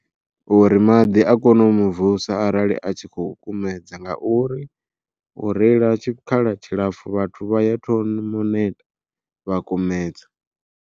Uri maḓi a kone u muvusa arali a tshi khou kumedza nga uri u reila tshikhala tshilapfhu vhathu vha ya thoma u neta vha kumedza.